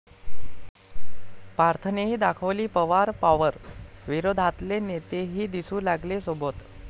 पार्थनेही दाखवली पवार पॉवर, विरोधातले नेतेही दिसू लागले सोबत